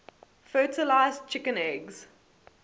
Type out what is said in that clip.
fertilized chicken eggs